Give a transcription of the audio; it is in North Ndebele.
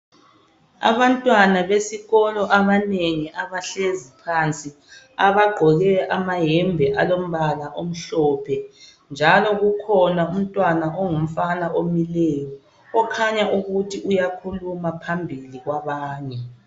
Abantwana besikolo abanengi abahlezi phansi. Abagqoke amahembe alombala amhlophe. Njalo kukhona umntwana ongumfana omileyo okhanya ukuthi uyakhuluma phambili kwabanye.